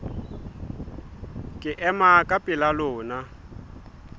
ke ema ka pela lona